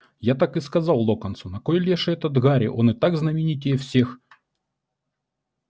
я так и сказал локонсу на кой леший это гарри он и так знаменитей всех